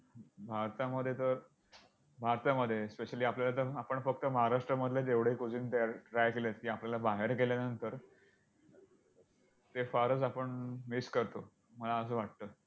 भारतामध्ये तर भारतामध्ये specially आपल्याला तर आपण फक्त महाराष्ट्रामधले जेवढे try केलेत आपल्याला बाहेर गेल्यानंतर ते फारच आपण miss करतो मला असं वाटतं.